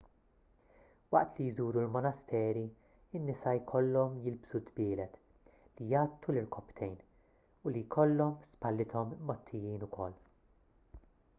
waqt li jżuru l-monasteri in-nisa jkollhom jilbsu dbielet li jgħattu l-irkopptejn u li jkollhom spallithom mgħottijin wkoll